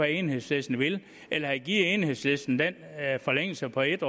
enhedslisten vil eller at give enhedslisten den forlængelse på en